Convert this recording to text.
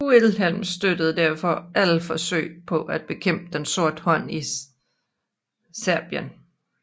Wilhelm støttede derfor alle forsøg på at bekæmpe Den sorte hånd i Serbien